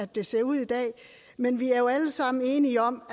det ser ud i dag men vi er jo alle sammen enige om